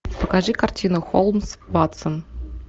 покажи картину холмс ватсон